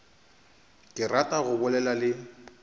ke rata go bolela le